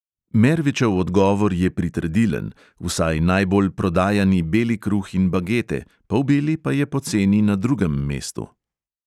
Mervičev odgovor je pritrdilen; vsaj najbolj prodajani beli kruh in bagete, polbeli pa je po ceni na drugem mestu.